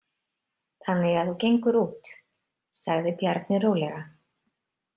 Þannig að þú gengur út, sagði Bjarni rólega.